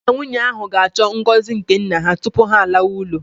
Di na nwunye ahụ ga-achọ ngọzi nke nna ha tupu ha alawa ụlọ